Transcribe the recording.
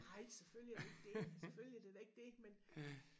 Nej selvfølgelig er det ikke det selvfølgelig det da ikke det men